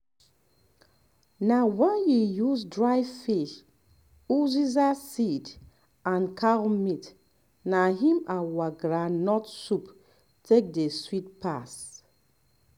na wen we use dry fish uziza seed and cow meat na im our um groundnut soup take dey sweet pass